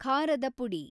ಖಾರದ ಪುಡಿ